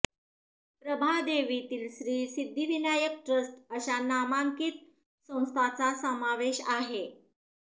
प्रभादेवीतील Shri Siddhivinayak trust अशा नामांकित संस्थांचा समावेश आहे